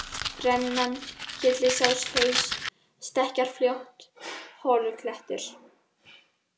Rennan, Kyllisáshaus, Stekkjarfljót, Holuklettur